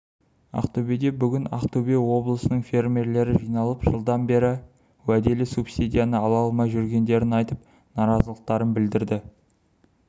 ақтөбеде бүгін ақтөбе облысының фермерлері жиналып жылдан бері уәделі субсидияны ала алмай жүргендерін айтып наразылықтарын білдірді